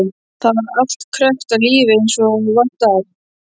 Þar var allt krökkt af lífi eins og vant var.